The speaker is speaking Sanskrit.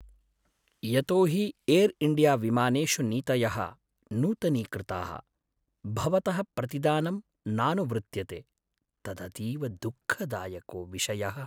यतो हि एर् इण्डियाविमानेषु नीतयः नूतनीकृताः, भवतः प्रतिदानम् नानुवृत्यते, तदतीव दुःखदायको विषयः।